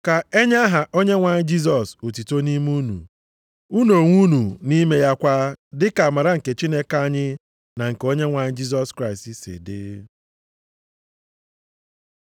Ka e nye aha Onyenwe anyị Jisọs otuto nʼime unu, unu onwe unu nʼime ya kwa, dị ka amara nke Chineke anyị na nke Onyenwe anyị Jisọs Kraịst si dị.